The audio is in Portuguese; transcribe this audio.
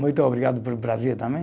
Muito obrigado para o Brasil também.